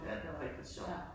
Ja, det var rigtig sjovt